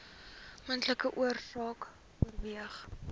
moontlike oorsake oorerwing